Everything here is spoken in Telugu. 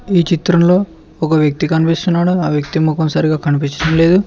ఈ చిత్రంలో ఒక వ్యక్తి కనిపిస్తున్నాడో ఆ వ్యక్తి మొఖం సరిగా కనిపించడం లేదు.